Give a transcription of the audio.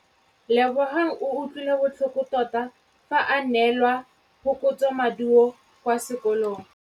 Lebogang o utlwile botlhoko tota fa a neelwa phokotsômaduô kwa sekolong.